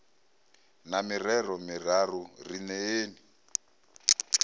na mirero miraru ri neeni